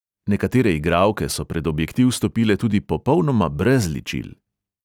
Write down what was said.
Nekatere igralke so pred objektiv stopile tudi popolnoma brez ličil.